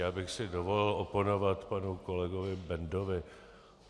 Já bych si dovolil oponovat panu kolegovi Bendovi.